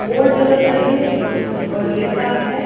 Board लगते रहे और लिखा है।